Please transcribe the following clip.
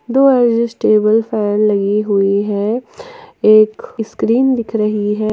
दो table fan लगी हुई हैं एक स्क्रीन दिख रही हैं।